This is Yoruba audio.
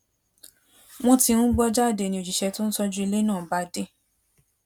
wón ti ń gbó jáde ni òṣìṣé tó ń tójú ilé náà bá dé